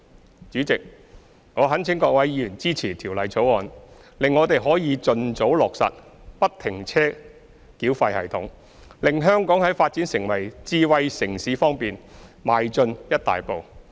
代理主席，我懇請各位議員支持《條例草案》，使我們可以盡早落實不停車繳費系統，令香港在發展成為智慧城市方面邁進一大步。